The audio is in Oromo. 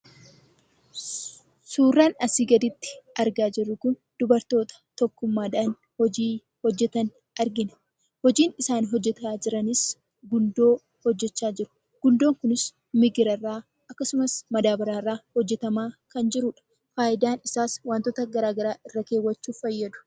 Suuraan asii gaditti argaa jirru kun dubartoota tokkummaa dhaan hojii hojjetan argina. Hojiin isaan hojjechaa jiranis gundoo hojjechaa jiru. Gundoon kun migira irraa akkasumas madaabaraa irraa hojjetamaa kan jiruudha. Faayidaan isaas wantoota garaagaraa irra keewwachuuf fayyadu.